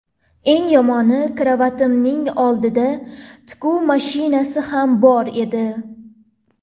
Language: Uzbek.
Eng yomoni, karavotimning oldida tikuv mashinasi ham bor edi.